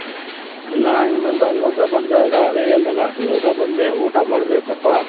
ಇಲ್ಲಣ್ಣ ಇನ್ಮೇಲ್ ದ ಇವಾಗದ ಬಂದೆ ಅದೇ ಹೇಳದೆ ಅಲ್ಲ ಇವಾಗ ದ ಬಂದೆ ಊಟ ಮಾಡಬೇಕು